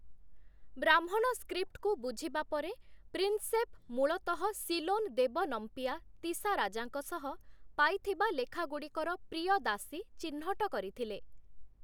ବ୍ରାହ୍ମଣ ସ୍କ୍ରିପ୍ଟକୁ ବୁଝିବା ପରେ ପ୍ରିନସେପ୍ ମୂଳତଃ ସିଲୋନ୍ ଦେବନମ୍ପିଆ ତିସାରାଜାଙ୍କ ସହ ପାଇଥିବା ଲେଖାଗୁଡ଼ିକର 'ପ୍ରିୟଦାସୀ' ଚିହ୍ନଟ କରିଥିଲେ ।